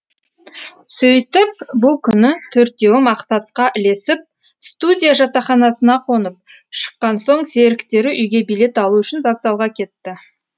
сөйтіп бұл күні төртеуі мақсатқа ілесіп студия жатақханасына қонып шыққан соң серіктері үйге билет алу үшін вокзалға кетті